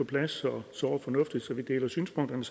plads og såre fornuftigt så vi deler synspunkterne